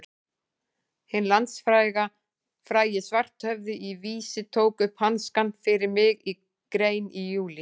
Hinn landsfrægi Svarthöfði í Vísi tók upp hanskann fyrir mig í grein í júlí.